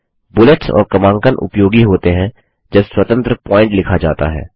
bullets और क्रमांकन उपयोगित होते हैं जब स्वतंत्र प्वॉइंट लिखा जाता है